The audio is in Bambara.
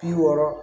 Bi wɔɔrɔ